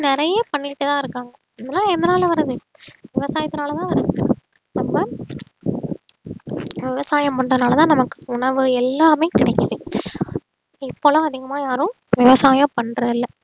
நிறைய பண்ணிக்கிட்டுதான் இருக்காங்க இதெல்லாம் எதனால வருது விவசாயத்துனால தான் வருது அதான் விவசாயம் பண்றதுனாலதான் நமக்கு உணவு எல்லாமே கிடைக்குது இப்பலாம் அதிகமா யாரும் விவசாயம் பண்றது இல்லை